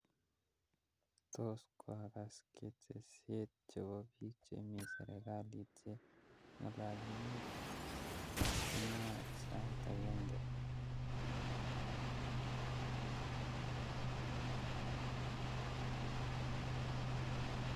Tos kwakas ketesiet chepo piik chemi serikalit che ngelelinik kakimwai sait agenge?